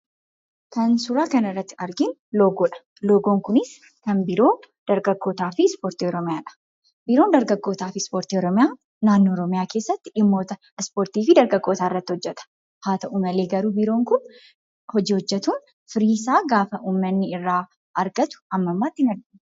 Kan suuraa kana irratti arginu loogoodha. Loogoon kunis kan biiroo dargaggootaafi ispoortii Oromiyaadha. Biiroon dargaggootaafi ispoortii Oromiyaa keessatti dhimmoota ispoortiifi dargaggootaa irratti hojjeta. Haata'u malee, garuu biiroon kun hojii hojjetuun firii isaan gaafa uummanni irraa argatu amma ammaatti hinargine.